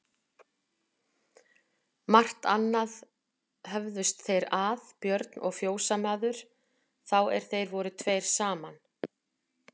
Margt annað höfðust þeir að Björn og fjósamaður, þá er þeir voru tveir saman.